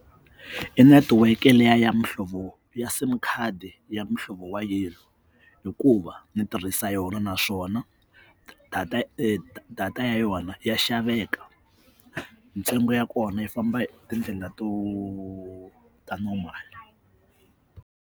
I netiweke leyi ya mihlovo ya sim card ya muhlovo wa yellow hikuva ni tirhisa yona naswona data data ya yona ya xaveka ntsengo ya kona yi famba tindlela ta normal.